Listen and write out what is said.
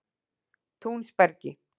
Túnsbergi